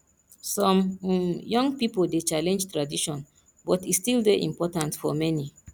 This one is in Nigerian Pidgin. some um young pipo dey challenge tradition but e still dey important for many